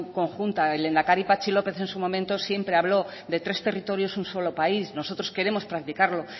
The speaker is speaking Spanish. conjunta el lehendakari patxi lópez en su momento siempre habló de tres territorios un solo país nosotros queremos practicarlo